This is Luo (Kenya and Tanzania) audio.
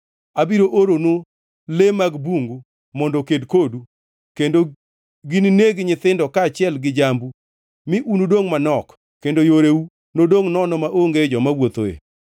Abiro oronu le mag bungu mondo oked kodu kendo ginineg nyithindo kaachiel gi jambu mi unudongʼ manok kendo yoreu nodongʼ nono maonge joma wuothoe.